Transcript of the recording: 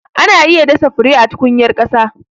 Ana iya dasa fure a tukunyar ƙasa.